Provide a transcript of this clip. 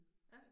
Ja